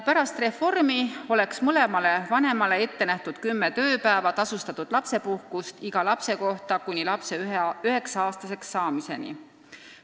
Pärast reformi oleks mõlemale vanemale ette nähtud kümme tööpäeva tasustatud lapsepuhkust iga lapse kohta kuni lapse 9-aastaseks saamiseni.